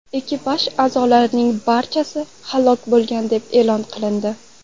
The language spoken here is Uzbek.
Ekipaj a’zolarining barchasi halok bo‘lgan deb e’lon qilindi.